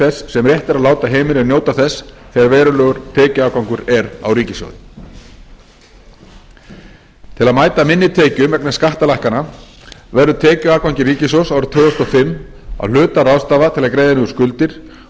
þess sem rétt er að láta heimilin njóta þess þegar verulegur tekjuafgangur er á ríkissjóði til að mæta minni tekjum vegna skattalækkana verður tekjuafgangi ríkissjóðs árið tvö þúsund og fimm að hluta ráðstafað til að greiða niður skuldir